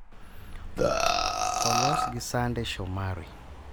olos gi Sunday Shomari